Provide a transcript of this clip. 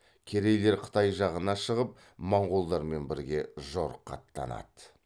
керейлер қытай жағына шығып монғолдармен бірге жорыққа аттанады